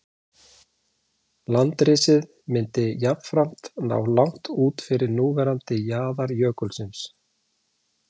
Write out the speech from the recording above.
Landrisið myndi jafnframt ná langt út fyrir núverandi jaðar jökulsins.